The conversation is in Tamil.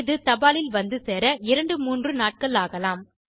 இது தபாலில் வந்து சேர 2 3 நாட்கள் ஆகலாம்